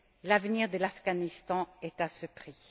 L'avenir de l'Afghanistan est à ce prix.